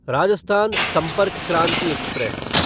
Rajasthan Sampark Kranti express